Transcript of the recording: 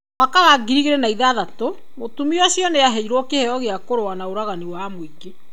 Mwaka wa 2006, mũtumia ũcio nĩ aheirwo kĩheo gĩa kũrũa na ũragani wa mũingĩ.